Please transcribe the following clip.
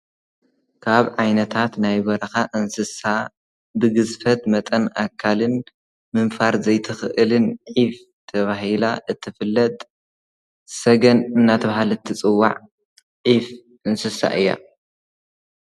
ካብ ዓይነታት ናይ በረኻ እንስሳ ብግዝፈት መጠን ኣካልን ምንፋር ዘይትኽእልን ዒፍ ተባሂላ እትፍለጥ ሰገን እናተብሃለት ትጽዋዕ ዒፍ እንስሳ እያ ።